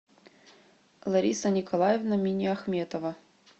лариса николаевна миниахметова